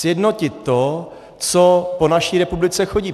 Sjednotit to, co po naší republice chodí.